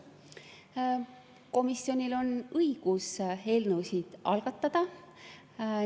Komisjonil on õigus eelnõusid algatada.